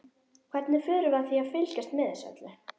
Hvernig förum við að því að fylgjast með þessu öllu?